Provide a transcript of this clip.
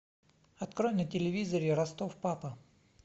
открой на телевизоре ростов папа